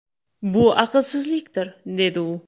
Bu aqlsizlikdir”, dedi u.